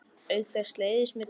Auk þess leiðist mér þú.